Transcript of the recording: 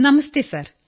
നമസ്തേ sir